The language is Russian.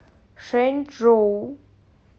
шэнчжоу